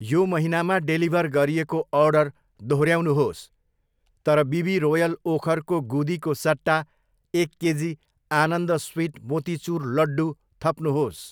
यो महिनामा डेलिभर गरिएको अर्डर दोहोऱ्याउनुहोस् तर बिबी रोयल ओखरको गुदीको सट्टा एक केजी आनन्द स्विट मोतीचुर लड्डू थप्नुहोस्।